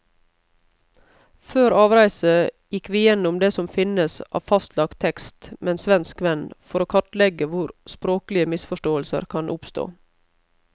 Før avreise gikk vi gjennom det som finnes av fastlagt tekst med en svensk venn, for å kartlegge hvor språklige misforståelser kan oppstå.